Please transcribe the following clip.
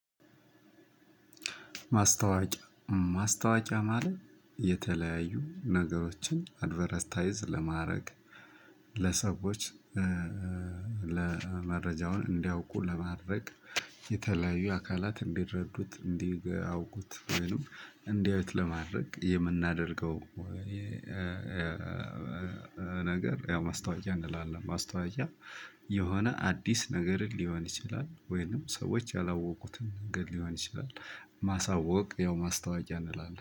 ማስታወቂያ ማለት የተለያዩ ነገሮችን አድቨርታይዝ ለማድረግ ለሰዎች ለመረጃውን እንዲያውቁ ለማድረግ የተለያዩ አካላት እንዲረዱት እንዲያውቁት ወይኑ እንዲያውቁት ለማድረግ የምናደርገው ያው ማስታወቅያ እንላለን ማስታወቅያ የሆነ አድስ ነገርን ልሆን ይችላል። ወይም ሰዎች ያላወቁትን ነገር ልሆን ይችላል ማሳወቅ ማስታወቅያ ይባላል።